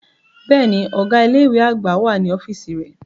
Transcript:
Bẹ́ẹ̀ni, ọga ile-iwe agba wa ni ọfiisi rẹ.